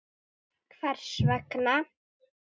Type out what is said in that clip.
Gunnar: Hvers vegna?